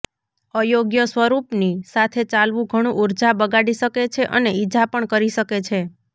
અયોગ્ય સ્વરૂપની સાથે ચાલવું ઘણું ઊર્જા બગાડી શકે છે અને ઇજા પણ કરી શકે છે